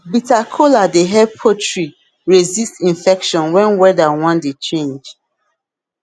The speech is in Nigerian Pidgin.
bitter kola dey help poultry resist infection when weather wan dey change